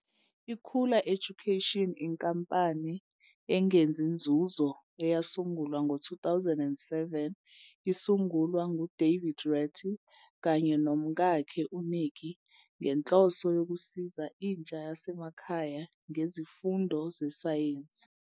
Ikhula Education inkampani engenzi nzuzo eyasungulwa ngo-2007 isungulwa ngu-David Rattery kanye nomkakhe u-Nicky ngenhloso yokusiza intsha yasemakhaya ngezifundo zesayensi.